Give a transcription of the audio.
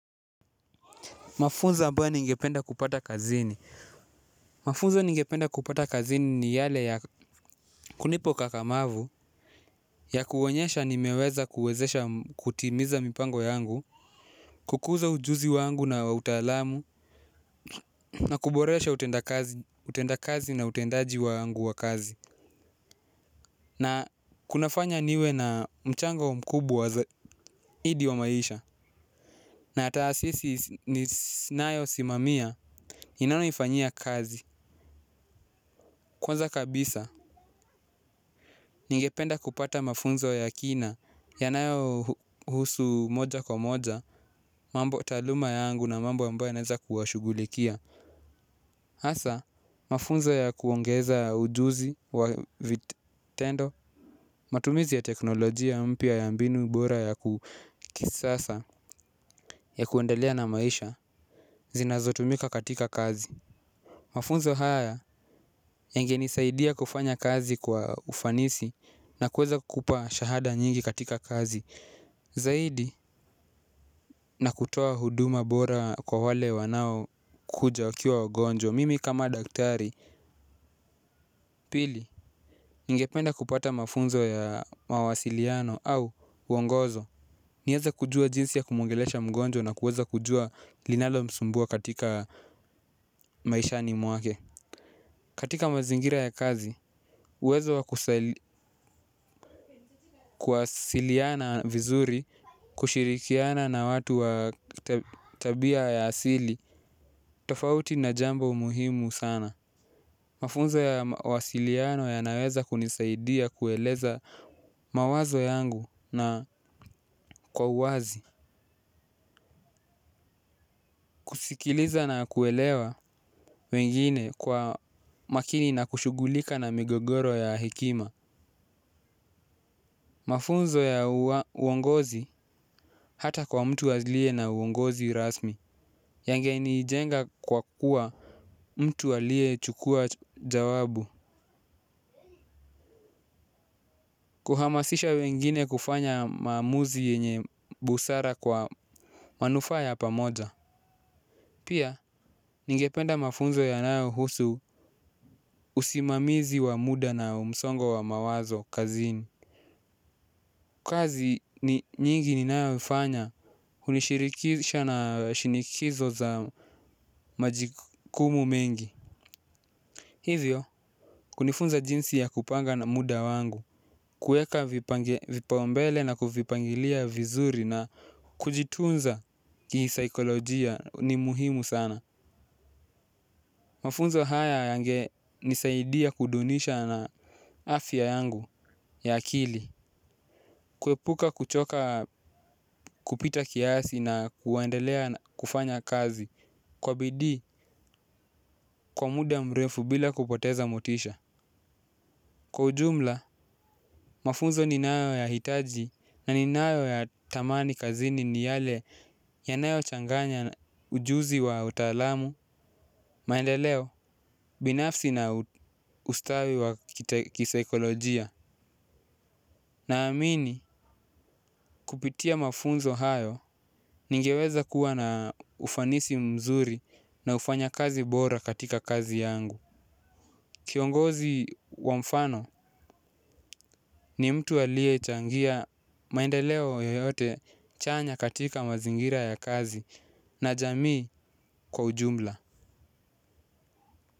Mafunza ambayo ningependa kupata kazini. Mafunzo ningependa kupata kazini ni yale ya kunipa ukakamavu ya kuonyesha nimeweza kuwezesha kutimiza mipango yangu. Kukuza ujuzi wangu na wa utalamu na kuboresha utenda kazi na utendaji wa yangu wa kazi. Na kunafanya niwe na mchango mkubwa zaidi wa maisha. Na ataasisi ninayo simamia, ninayoifanyia kazi. Kwanza kabisa, ningependa kupata mafunzo ya kina, yanayohusu moja kwa moja, mambo taaluma yangu na mambo ambayo naeza kuwashugulikia. Asa, mafunzo ya kuongeza ujuzi wa vitendo, matumizi ya teknolojia mpya ya mbinu bora ya ku kisasa, ya kuendelea na maisha, zinazotumika katika kazi. Mafunzo haya yangenisaidia kufanya kazi kwa ufanisi na kuweza kukupa shahada nyingi katika kazi. Zaidi na kutoa huduma bora kwa wale wanaokuja wakiwa wagonjwa. Mimi kama daktari pili ningependa kupata mafunzo ya mawasiliano au uongozo. Nieze kujua jinsi ya kumwongelesha mgonjwa na kuweza kujua linalomsumbua katika maishani mwake. Katika mazingira ya kazi, uwezo kuwasiliana vizuri, kushirikiana na watu wa tabia ya asili, tofauti na jambo muhimu sana. Mafunzo ya mawasiliano yanaweza kunisaidia kueleza mawazo yangu na kwa uwazi. Kusikiliza na kuelewa wengine kwa makini na kushugulika na migogoro ya hekima. Mafunzo ya uongozi hata kwa mtu azilie na uongozi rasmi. Yangenijenga kwa kuwa mtu aliyechukua jawabu. Kuhamasisha wengine kufanya maamuzi yenye busara kwa manufaa ya pamoja. Pia ningependa mafunzo yanayohusu usimamizi wa muda na umsongo wa mawazo kazini. Kazi nyingi ninayofanya, hunishirikisha na shinikizo za majikumu mengi. Hizyo, kunifunza jinsi ya kupanga na muda wangu, kueka vipaombele na kuvipangilia vizuri na kujitunza kisaikolojia ni muhimu sana. Mafunzo haya yangenisaidia kudunisha na afya yangu ya akili. Kuepuka kuchoka kupita kiasi na kuwendelea kufanya kazi, kwa bidii kwa muda mrefu bila kupoteza motisha. Kwa ujumla, mafunzo ninayoyahitaji na ninayoyatamani kazini ni yale yanayochanganya ujuzi wa utaalamu, maendeleo, binafsi na ustawi wa kisaikolojia. Naamini kupitia mafunzo hayo ningeweza kuwa na ufanisi mzuri na ufanya kazi bora katika kazi yangu. Kiongozi wa mfano ni mtu aliyechangia maendeleo yoyote chanya katika mazingira ya kazi na jamii kwa ujumla.